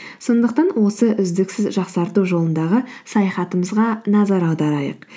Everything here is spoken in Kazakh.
сондықтан осы үздіксіз жақсарту жолындағы саяхатымызға назар аударайық